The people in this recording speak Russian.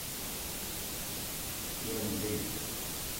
яньцзи